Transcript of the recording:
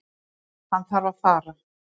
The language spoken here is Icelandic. Hann þarf að fara.